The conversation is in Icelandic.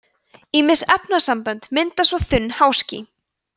ýmis efnasambönd mynda svo þunn háský